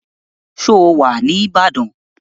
Ṣé ó wà ní Ìbàdàn?